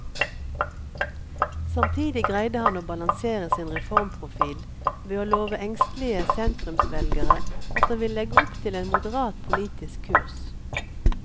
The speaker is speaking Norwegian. Samtidig greide han å balansere sin reformprofil ved å love engstelige sentrumsvelgere at han vil legge opp til en moderat politisk kurs.